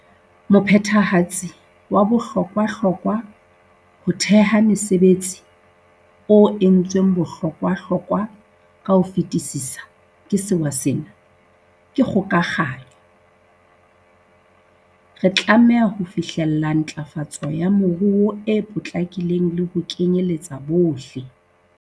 Mophethehatsi wa bohlokwa-hlokwa ho theha mesebe tsi, o entsweng bohlokwahlo kwa ka ho fetisisa ke sewa sena, ke kgokahanyo. Re tlameha ho fihlella ntlafa tso ya moruo e potlakileng le ho kenyeletsa bohle.